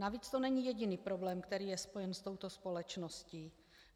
Navíc to není jediný problém, který je spojen s touto společností.